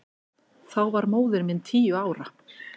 Þá var móðir mín tíu ára.